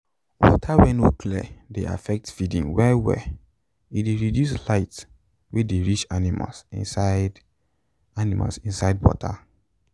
water wen no clear dey affect feeding well well e reduce light wey dey reach animal inside animal inside water